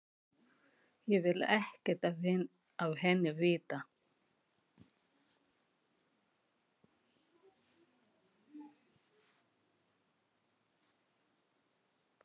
Ég vil ekkert af henni vita.